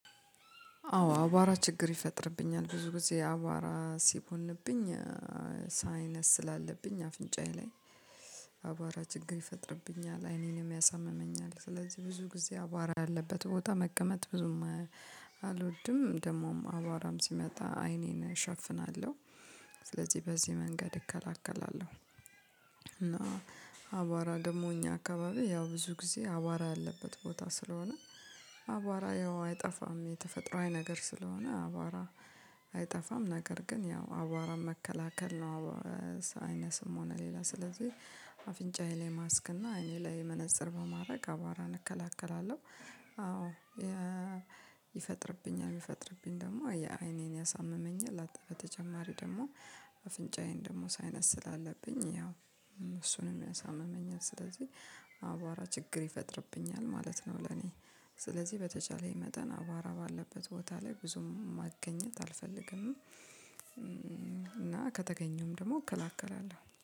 አዎ አቧራ ችግር ይፈጥርብኛል ብዙ ጊዜ አባራ ሲቦንብኝ ሳይነስ ስላለብኝ አፍንጫዬ ላይ አቧራ ችግር ይፈጥርብኛል አይኔንም ያሳምመኛል ስለዚህ ብዙ ጊዜ አቧራ አለበት ቦታ መቀመጥ ብዙም አልወድም ደግሞም አቧራም ሲመጣ አይኔን እሸፍናለሁ ስለዚህ በዚህ መንገድ እከላከላለሁ እና አቧራ ደግሞ እኛ አካባቢ ያው ብዙ ጊዜ አቧራ ያለበት ቦታ ስለሆነ አቧራ ያው አይጠፋም የተፈጥሯዊ ነገር ስለሆነ አቧራ አይጠፋም ነገር ግን ያው አቧራ መከላከል ነው ሳይነስም ሆነ ሌላ ስለዚህ አፍንጫዬ ላይ ማስክ እና አይኔ ላይ መነፀር በማድረግ አቧራን እከላከላለሁ አዎ ይፈጥርብኛል ቢፈጥርብኝ ደግሞ አይኔን ያሳምመኛል በተጨማሪው ደግሞ አፍንጫዬን ደግሞ ሳይነስል አለብኝ ያው እሱንም ያሳምመኛል ስለዚህ አባራ ችግር ይፈጥርብኛል ማለት ነው ለኔ ስለዚህ በተቻለኝ መጠን አቧራ ባለበት ቦታ ላይ ብዙም ማገኘት አልፈልግም እና ከተገኘውም ደግሞ እከላከላለሁ።